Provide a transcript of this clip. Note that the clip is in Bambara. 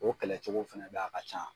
O kɛlɛcogo fɛnɛ be yen a ka ca